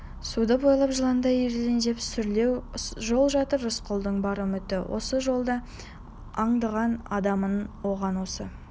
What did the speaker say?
суды бойлап жыландай ирелендеп сүрлеу жол жатыр рысқұлдың бар үміті осы жолда аңдыған адамын оған осы